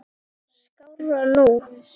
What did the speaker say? skárra nú.